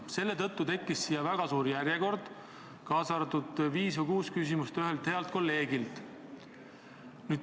Selle tõttu tekkis väga suur järjekord, kaasa arvatud viis või kuus küsimust ühelt healt kolleegilt.